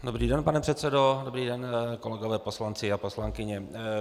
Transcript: Dobrý den, pane předsedo, dobrý den kolegové poslanci a poslankyně.